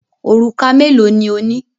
Òrùka mélòó ni ó ní?